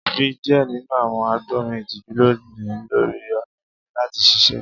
Ri diẹ ninu awọn agbọnrin itiju loni lori ọna mi lati ṣiṣẹ